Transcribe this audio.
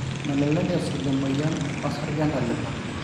melelek esuj emoyian orsarge entalipa